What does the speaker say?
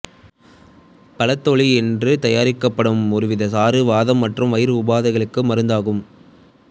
பழத்தோலினின்று தயாரிக்கப்படும் ஒருவித சாறு வாதம் மற்றும் வயிறு உபாதைகளுக்கு மருந்தாகும்